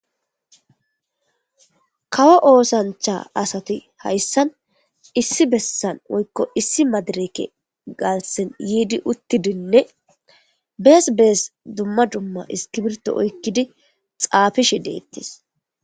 kawo oosancha asati hayssan issi bessan woykko issi madireke galsen yiidi uttidinne bees bees dumma dumma iskibirto oykkidi xaafishi deettis